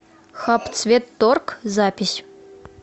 хабцветторг запись